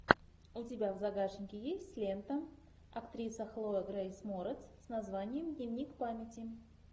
у тебя в загашнике есть лента актриса хлоя грейс морец с названием дневник памяти